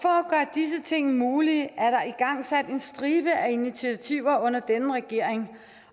disse ting mulige er der igangsat en stribe af initiativer under denne regering